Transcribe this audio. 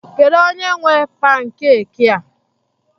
Kedu onye nwe pankeki a?